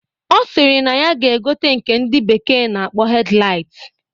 Ọ sịrị na ya ga-egote nke ndị bekee na-akpọ hedlait